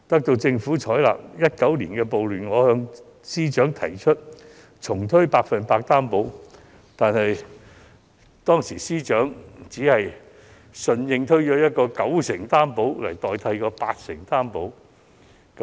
因應2019年的暴亂，我建議司長重推"百分百擔保"，但司長只是以九成信貸擔保取代八成信貸擔保。